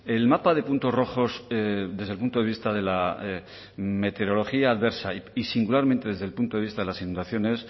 el mapa de puntos rojos desde el punto de vista de la meteorología adversa y singularmente desde el punto de vista de las inundaciones